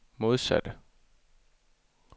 modsatte